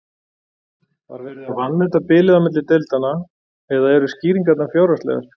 Var verið að vanmeta bilið á milli deildanna eða eru skýringarnar fjárhagslegar?